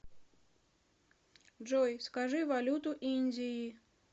джой скажи валюту индии